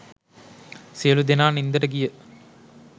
සියලු දෙනා නින්දට ගිය